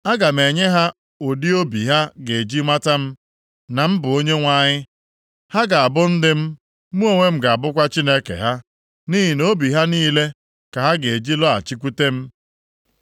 Aga m enye ha ụdị obi ha ga-eji mata m, na m bụ Onyenwe anyị. Ha ga-abụ ndị m, mụ onwe m ga-abụkwa Chineke ha. Nʼihi na obi ha niile ka ha ga-eji lọghachikwute m.